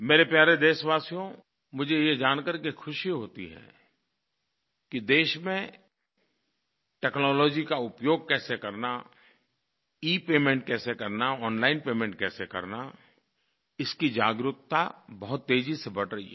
मेरे प्यारे देशवासियो मुझे ये जान करके ख़ुशी होती है कि देश में टेक्नोलॉजी का उपयोग कैसे करना इपेमेंट कैसे करना ओनलाइन पेमेंट कैसे करना इसकी जागरूकता बहुत तेज़ी से बढ़ रही है